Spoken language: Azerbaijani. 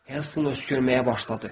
Herston öskürməyə başladı.